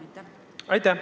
Aitäh!